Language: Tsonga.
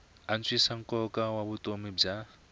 antswisa nkoka wa vutomi bya